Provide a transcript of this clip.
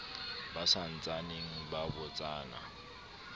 ba sa ntsaneng ba botsana